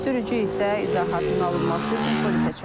Sürücü isə izahatın alınması üçün polisə çağrılıb.